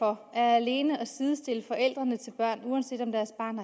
har alene at sidestiller forældre til børn uanset om deres barn